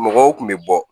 Mɔgɔw kun bɛ bɔ